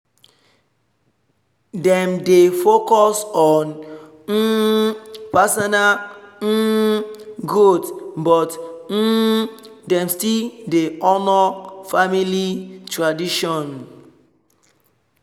dem dey focus on um personal um growth but um dem still dey honour family tradition